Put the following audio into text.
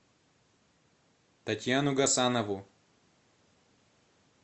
татьяну гасанову